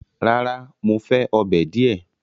Rárá, Mo fẹ ọ́bẹ̀ diẹ